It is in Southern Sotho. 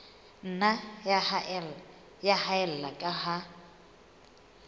nna ya haella ka ha